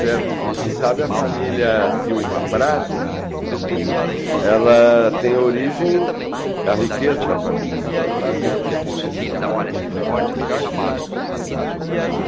certo, como se sabe, a família Silva Prado, ela tem origem... a riqueza da família Silva Prado tem origem nesse trabalho, nesse trabalho de tropeiros também.